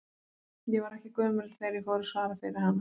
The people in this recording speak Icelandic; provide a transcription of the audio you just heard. Ég var ekki gömul þegar ég fór að svara fyrir hana.